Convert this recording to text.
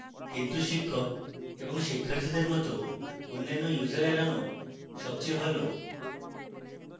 কিন্তু শিক্ষক এবং শিক্ষার্থীদের মত অন্যান্য users এড়ানো সবচেয়ে ভাল